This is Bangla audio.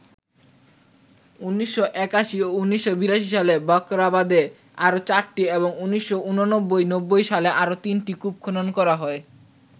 ১৯৮১ ও ১৯৮২ সালে বাখরাবাদে আরো ৪টি এবং ১৯৮৯- ৯০ সালে আরো ৩টি কূপ খনন করা হয়।